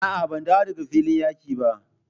A'a, ban dawo daga filin yaƙi ba.